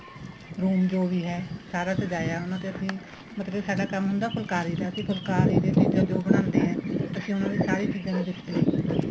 room ਜੋ ਵੀ ਹੈ ਸਾਰਾ ਸਜਾਇਆ ਉਹਨਾ ਤੇ ਅਸੀਂ ਮਤਲਬ ਸਾਡਾ ਕੰਮ ਹੁੰਦਾ ਫੁਲਕਾਰੀ ਦਾ ਅਸੀਂ ਫੁਲਕਾਰੀ ਦੇ ਚੀਜ਼ਾਂ ਜੋ ਬਣਾਦੇ ਹੈ ਅਸੀਂ ਉਹਨਾ ਦੀ ਸਾਰੀ ਚੀਜ਼ਾਂ ਦੀ display ਕੀਤੀ ਏ